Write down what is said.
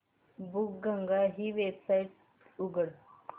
बुकगंगा ही वेबसाइट उघड